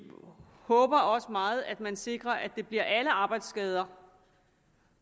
håber også meget at man sikrer at det bliver alle arbejdsskader